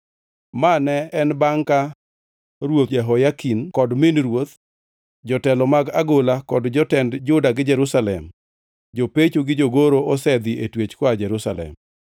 (Ma ne en bangʼ ka Ruoth Jehoyakin kod min ruoth, jotelo mag agola kod jotend Juda gi Jerusalem, jopecho gi jogoro osedhi e twech koa Jerusalem.)